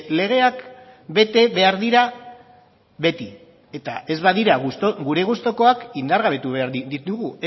legeak bete behar dira beti eta ez badira gure gustukoak indargabetu behar ditugu